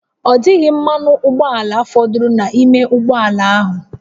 Ọ dịghị mmanụ ụgbọala fọdụrụ n'ime ụgbọ ala ahụ